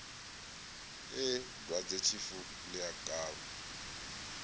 ee dwadzetshifu ḽi a kavha